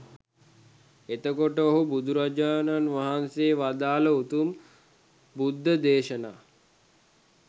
එතකොට ඔහු බුදුරජාණන් වහන්සේ වදාළ උතුම් බුද්ධ දේශනා